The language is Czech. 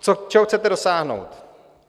Čeho chcete dosáhnout?